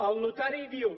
el notari diu